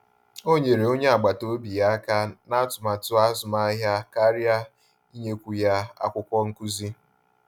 O nyere onye agbata obi ya aka ná atụmatụ azụmahịa karịa inyekwu ya akwụkwọ nkụzi